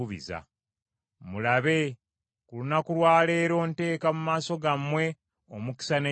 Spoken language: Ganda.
Mulabe, ku lunaku lwa leero nteeka mu maaso gammwe omukisa n’ekikolimo.